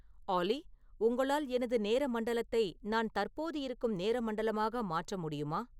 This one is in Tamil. ஆல்லி உங்களால் எனது நேர மண்டலத்தை நான் தற்போது இருக்கும் நேர மண்டலமாக மாற்ற முடியுமா